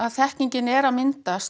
þekkingin er að myndast